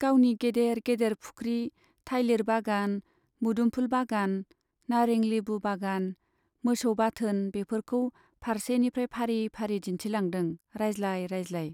गावनि गेदेर गेदेर फुख्रि , थाइलिर बागान , मोदोमफुल बागान , नारें लेबु बागान , मोसौ बाथोन बेफोरखौ फारसेनिफ्राइ फारि फारि दिन्थिलांदों रायज्लाय रायज्लाय।